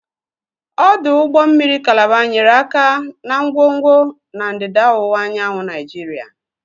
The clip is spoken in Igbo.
Ọdụ ụgbọ mmiri Kalaba nyere aka na ngwongwo na ndịda ọwụwa anyanwụ Nigeria.